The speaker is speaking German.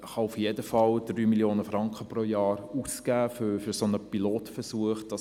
Man kann auf jeden Fall 3 Mio. Franken pro Jahr für einen solchen Pilotversuch ausgeben.